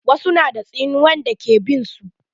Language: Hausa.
Wasu na da tsinuwan da ke bin su.